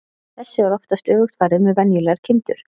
Þessu er oftast öfugt farið með venjulegar kindur.